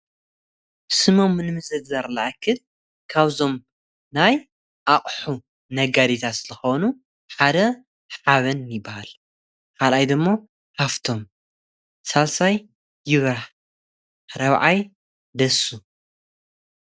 ስሞም ንምዝርዛር ዝኣክል ካብዞም ናይ ኣቕሑ ነጋዴታት ዝኾኑ ሓደ ሓበን ይበሃል፡፡ ኻልኣይ ደሞ ሃፍቶም ፣ሳልሳይ ይብራህ ፣ራብዓይ ደሱ፡፡